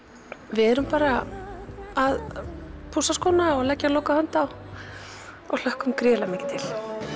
við erum bara að pússa og leggja lokahönd á og hlökkum gríðarlega mikið til